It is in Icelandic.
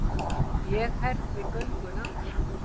Ég herði gönguna.